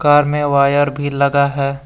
Car में wire भी लगा है।